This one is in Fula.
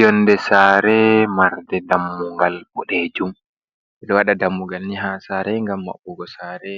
Yonde saare marde dammugal boɗejum ɓeɗo waɗa dammugal ni ha saare ngam maɓɓugo saare